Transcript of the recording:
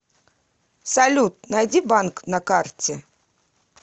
салют найди банк на карте